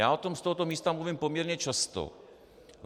Já o tom z tohoto místa mluvím poměrně často.